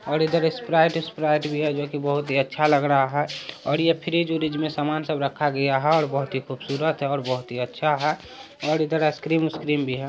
ओर इधर Sprite - Sprite भी है जो की बोहोत ही अच्छा लग रहा है। और ये फ्रिज -व्रीज में सामान सब रखा गया है। बोहोत ही खूबसूरत और बोहोत ही अच्छा है। और इधर आइसक्रीम -वाइसक्रीम भी है।